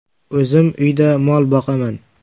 O‘zim uyda mol boqaman.